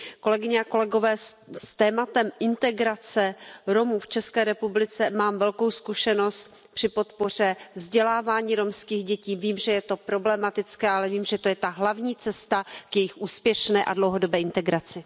Kolegyně a kolegové, s tématem integrace Romů v České republice mám velkou zkušenost při podpoře vzdělávání romských dětí, vím, že je to problematické, ale vím, že je to ta hlavní cesta k jejich úspěšné a dlouhodobé integraci.